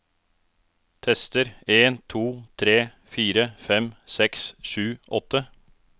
Tester en to tre fire fem seks sju åtte